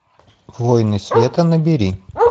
воины света набери